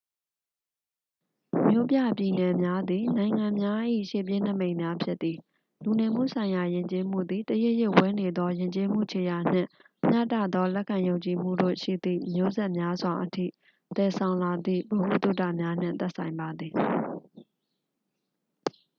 မြို့ပြပြည်နယ်များသည် နိုင်ငံများ၏ ရှေ့ပြေးနိမိတ်များ ဖြစ်သည် လူနေမှုဆိုင်ရာ ယဉ်ကျေးမှုသည် တရစ်ရစ်ဝဲနေသော ယဉ်ကျေးမှု ခြေရာနှင့် မျှတသော လက်ခံယုံကြည်မှုတို့ရှိသည့် မျိုးဆက်များစွာအထိ သယ်ဆောင်လာသည့် ဗဟုသုတများနှင့် သက်ဆိုင်ပါသည်